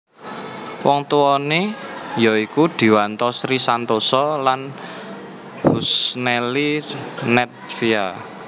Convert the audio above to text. Wong tuwané ya iku Dwianto Sri Santosa lan Husnelly Nedvia